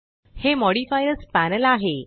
हे modifiers panel आहे